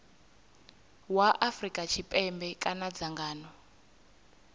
wa afrika tshipembe kana dzangano